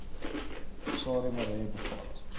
sarie marais bevat